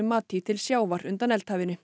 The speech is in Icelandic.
mati til sjávar undan